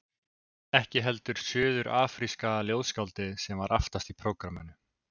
Ekki heldur suður-afríska ljóðskáldið sem var aftast í prógramminu.